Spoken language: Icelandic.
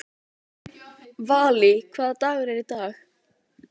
Valý, hvaða dagur er í dag?